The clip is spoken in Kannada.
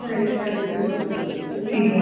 ಅದೆ ಸಿಗುವ ಸರಿ.